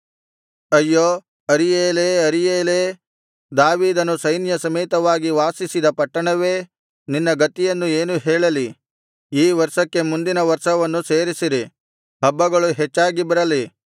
ಅಯ್ಯೋ ಅರೀಯೇಲೇ ಅರೀಯೇಲೇ ದಾವೀದನು ಸೈನ್ಯಸಮೇತವಾಗಿ ವಾಸಿಸಿದ ಪಟ್ಟಣವೇ ನಿನ್ನ ಗತಿಯನ್ನು ಏನು ಹೇಳಲಿ ಈ ವರ್ಷಕ್ಕೆ ಮುಂದಿನ ವರ್ಷವನ್ನು ಸೇರಿಸಿರಿ ಹಬ್ಬಗಳು ಹೆಚ್ಚಾಗಿ ಬರಲಿ